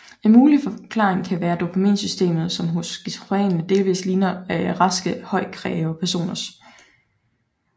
En mulig forklaring kan være dopaminsystemet som hos skizofrene delvist ligner raske højkreative personers